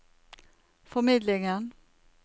formidlingen